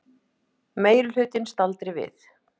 Meirihlutinn staldri við